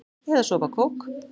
Eða sopa af kók?